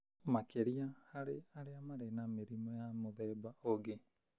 Makĩria harĩ arĩa marĩ na mĩrimũ ya mũthemba ũngĩ.